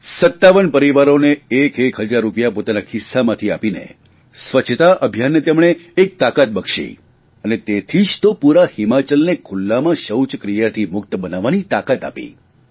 57 પરિવારોને એક એક હજાર રૂપિયા પોતાના ખિસ્સામાંથી આપીને સ્વચ્છતા અભિયાનને તેમણે એક નવી તાકાત બક્ષી અને તેથી જ તો પૂરા હિમાચલને ખુલ્લામાં શૌચક્રિયાથી મુક્ત બનાવવાની તાકાત આવી